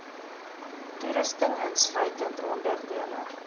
toerusting insluitend onderdele